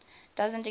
doesn t exist